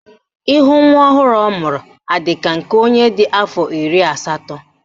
Ihu nwa ọhụrụ ọ mụrụ adị ka nke onye dị afọ iri asatọ?